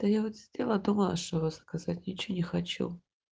хотела до вашего сказать ничего не хочу